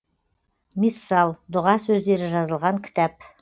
миссал дұға сөздері жазылған кітап